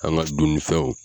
An ka donmisɛnw